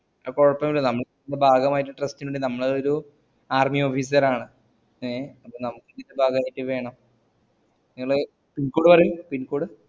അത് കൊയ്‌പോന്നുല്ല നമ്മ തിന്റെ ഭാഗമായിട്ട് trust ന് വേണ്ടി ഞമ്മളോരു army officer ആണ് ഏ അപ്പൊ നമക്കിത് ഇതിന്റെ ഭഗായ്റ്റ് വേണം നിങ്ങള് pincode പറയു pincode